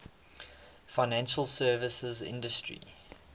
financial services industry